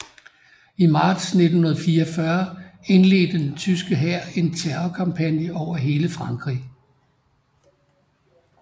I marts 1944 indledte den tyske hær en terrorkampagne over hele Frankrig